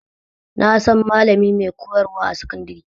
Na san malami mai koyar wa a sakandare